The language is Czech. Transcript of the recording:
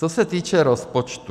Co se týče rozpočtu.